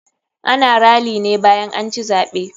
Ana rally ne bayan anci zaɓe.